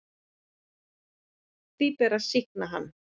Því beri að sýkna hann.